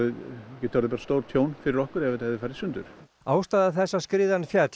getað orðið stórtjón fyrir okkur ef þetta hefði farið í sundur ástæða þess að skriðan féll